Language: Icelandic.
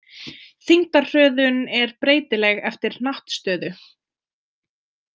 Þyngdarhröðun er breytileg eftir hnattstöðu.